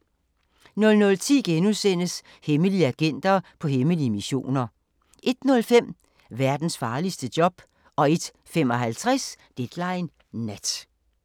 00:10: Hemmelige agenter på hemmelige missioner * 01:05: Verdens farligste job 01:55: Deadline Nat